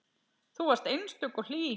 Þú varst einstök og hlý.